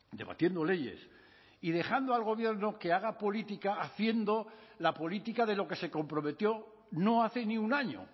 debatiendo leyes y dejando al gobierno que haga política haciendo la política de lo que se comprometió no hace ni un año